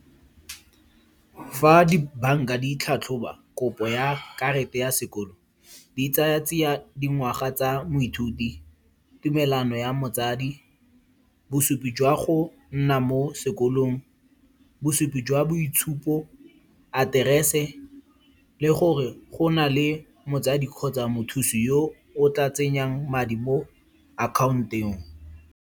Fa di bank-a di itlhatlhoba, kopo ya karata ya sekolo, di tsaya tsia dingwaga tsa moithuti, tumelano ya motsadi, bosupi jwa go nna mo sekolong, bosupi jwa boitshupo, aterese le gore go na le motsadi kgotsa mothusi yo o tla tsenyang madi mo account-eng.